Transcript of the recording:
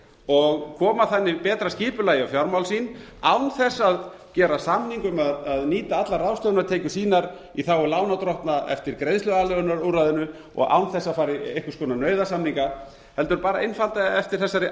og koma þannig betra skipulagi á fjármál sín án þess að gera samning um að nýta allar ráðstöfunartekjur sínar í þágu lánardrottna eftir greiðsluaðlögunarúrræðinu og án þess að fara í einhvers konar nauðasamninga heldur bara einfaldlega eftir þessari